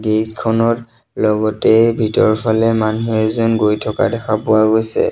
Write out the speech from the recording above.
Gate খনৰ লগতে ভিতৰফালে মানুহ এজন গৈ থকা দেখা পোৱা গৈছে।